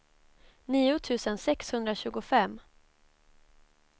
nio tusen sexhundratjugofem